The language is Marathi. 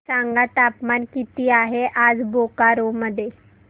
सांगा तापमान किती आहे आज बोकारो मध्ये